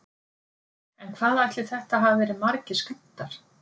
En hvað ætli þetta hafi verið margir skammtar?